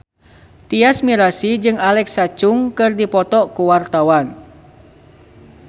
Tyas Mirasih jeung Alexa Chung keur dipoto ku wartawan